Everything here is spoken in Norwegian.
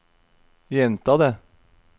gjenta det